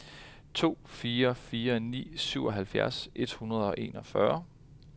to fire fire ni syvoghalvfjerds et hundrede og enogfyrre